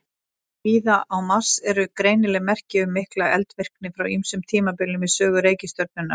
Víða á Mars eru greinileg merki um mikla eldvirkni frá ýmsum tímabilum í sögu reikistjörnunnar.